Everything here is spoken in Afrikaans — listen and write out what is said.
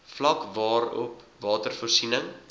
vlak waarop watervoorsiening